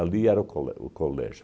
era o colé o Colégio